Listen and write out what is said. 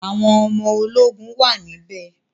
Àwọn ọmọ ológun wà níbẹ̀